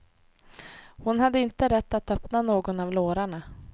Hon hade inte rätt att öppna någon av lårarna.